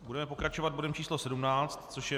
Budeme pokračovat bodem číslo 17, což je